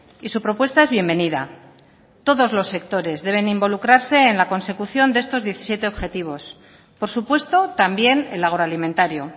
y su propuesta es bienvenida todos los sectores deben involucrarse en la consecución de estos diecisiete objetivos por supuesto también el agroalimentario